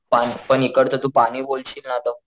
पाणी पण इकडचं तू पाणी बोलशील ना तर,